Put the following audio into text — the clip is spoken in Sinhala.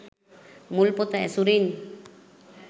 මුල් පොත ඇසුරින්